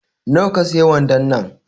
Na wa ka siye wandon nan